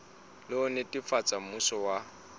le ho netefatsa mmuso wa